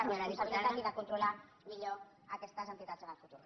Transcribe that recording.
responsabilitat i de controlar millor aquestes entitats en el futur